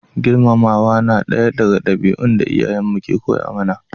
Girmamawa na daya daga dabi'un da iyayen mu ke koya mana